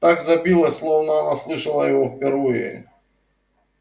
так забилось словно она слышала его впервые